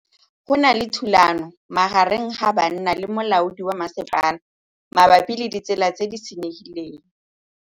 Go na le thulanô magareng ga banna le molaodi wa masepala mabapi le ditsela tse di senyegileng.